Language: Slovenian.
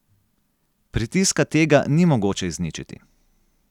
Pritiska tega ni mogoče izničiti.